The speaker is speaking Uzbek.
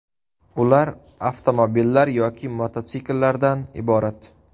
Ular avtomobillar yoki mototsikllardan iborat.